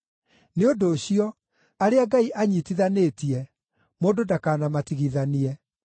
Nĩ ũndũ ũcio, arĩa Ngai anyiitithanĩtie, mũndũ ndakanamatigithanie.”